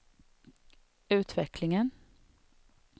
utvecklingen